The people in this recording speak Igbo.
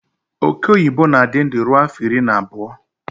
Ọke ọyịbọ na-adị ndụ ruo afọ iri na abụọ